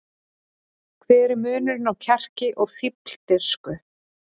Hver er munurinn á kjarki og fífldirfsku?